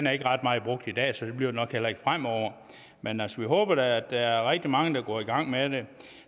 er ikke ret meget brugt i dag så det bliver det nok heller ikke fremover men altså vi håber da at der er rigtig mange der går i gang med det